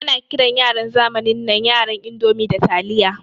Ana kiran yaran zamanin nan yaran indomi da taliya.